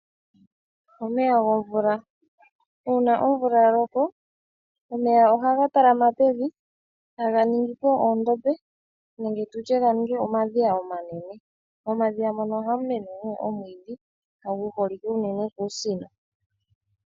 Omeya gomvula. Uuna omvula yaloko omeya ohaga talama pevi , etaga ningi po oondombe nenge omadhiya omanene . Momadhiya ohamu mene omwiidhi gu holike unene kuusino.